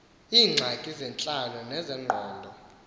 iingxaki zentlalo nezengqondo